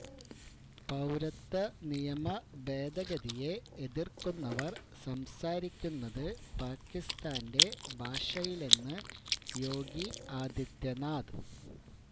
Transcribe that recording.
പൌരത്വനിയമ ഭേദഗതിയെ എതിർക്കുന്നവർ സംസാരിക്കുന്നത് പാകിസ്ഥാന്റെ ഭാഷയിലെന്ന് യോഗി ആദിത്യനാഥ്